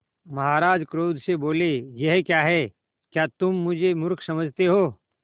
महाराज क्रोध से बोले यह क्या है क्या तुम मुझे मुर्ख समझते हो